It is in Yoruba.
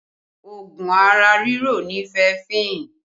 Oògùn ara riro ni fẹẹfin